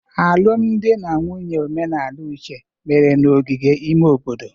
Alụmdi na nwunye omenala Uche mere n'ogige ime obodo.